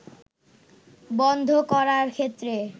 বন্ধ করার ক্ষেত্রে